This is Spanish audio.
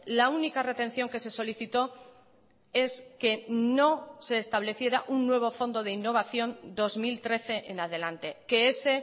la única retención que se solicitó es que no se estableciera un nuevo fondo de innovación dos mil trece en adelante que ese